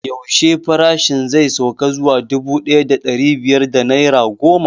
Yaushe farashin zai sauka zuwa dubu ɗaya da ɗari biyar da naira goma?